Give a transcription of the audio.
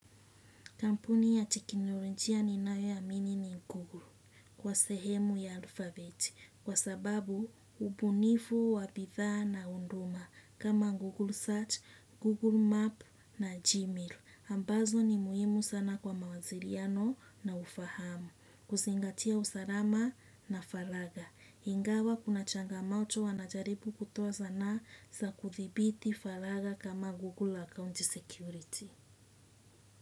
Kampuni ya teknolojia ninayo iamini ni Google kwa sehemu ya alfabeti kwa sababu ubunifu wa bidhaa na huduma kama Google Search, Google Map na Gmail. Ambazo ni muhimu sana kwa mawasiliano na ufahamu. Kuzingatia usalama na faragha. Ingawa kuna changamoto wanajaribu kutoa sana za kudhibiti faragha kama Google Account Security.